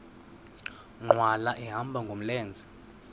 nkqwala ehamba ngamlenze